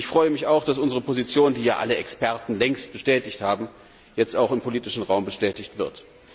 Ich freue mich auch, dass unsere Position, die ja alle Experten längst bestätigt haben, jetzt auch im politischen Raum bestätigt wird.